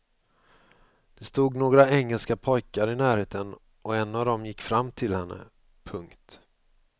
Det stod några engelska pojkar i närheten och en av dem gick fram till henne. punkt